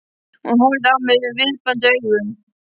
Hún horfði á mig biðjandi augum.